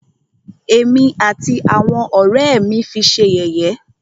Ẹ̀mí àti àwọn ọ̀rẹ́ ẹ́ mí fi ṣé yẹ̀yẹ́.